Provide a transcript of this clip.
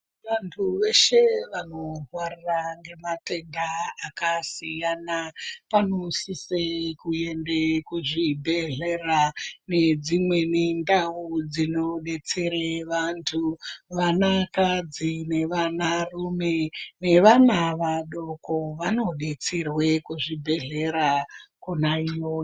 Vantu veshe vanorwara ngematenda akasiyana vanosise kuende kuzvibhedhlera ngedzimweni ndau dzinodetsere vantu vanakadzi nevanarume nevana vadoko vanodetserwe kuzvibhedhlera Kona iyoyo.